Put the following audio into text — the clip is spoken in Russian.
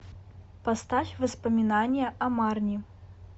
поставь воспоминания о марни